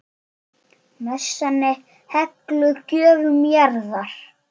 Messan er helguð gjöfum jarðar.